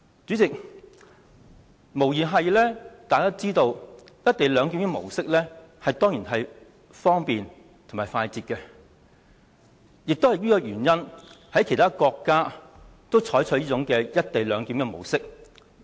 主席，大家也知道"一地兩檢"的模式無疑是方便、快捷，而其他國家也因此而採用"一地兩檢"的模式。